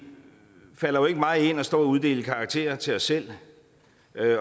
falder jo ikke mig ind at stå og uddele karakterer til os selv